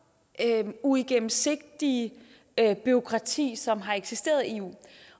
uigennemsigtige bureaukrati som har eksisteret i eu